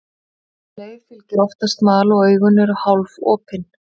Um leið fylgir oftast mal og augun eru hálfopin.